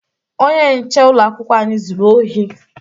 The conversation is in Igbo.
Onye nche ụlọakwụkwọ anyị zuru ohi